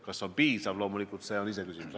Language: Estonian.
Kas see on piisav, on loomulikult iseküsimus.